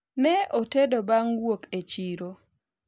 ne otedo bang' wuok e chiro